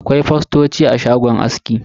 Akwai fostoci a shagon aski.